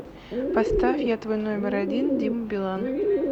поставь я твой номер один дима билан